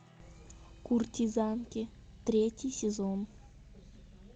куртизанки третий сезон